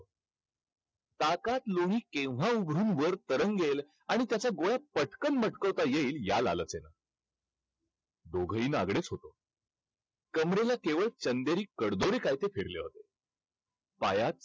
ताकात लोणी केव्हा वर तरंगेल आणि त्याच्या गोळ्या पटकन मटकवता येईल दोघंही नागडेच होतो. कमरेला केवळ चंदेरी कडदोरे काय ते होते.